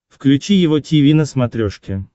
включи его тиви на смотрешке